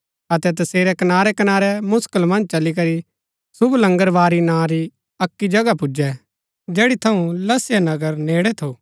अतै तसेरै कनारै कनारै मुसकल मन्ज चली करी शुभ लंगरबारी नां री अक्की जगह पुजै जैड़ी थऊँ लसया नगर नेड़ै थु